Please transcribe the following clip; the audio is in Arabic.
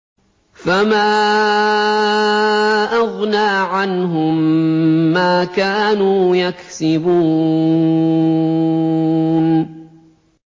فَمَا أَغْنَىٰ عَنْهُم مَّا كَانُوا يَكْسِبُونَ